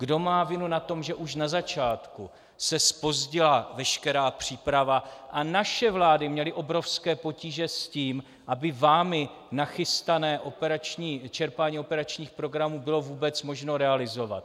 Kdo má vinu na tom, že už na začátku se zpozdila veškerá příprava a naše vlády měly obrovské potíže s tím, aby vámi nachystané čerpání operačních programů bylo vůbec možno realizovat?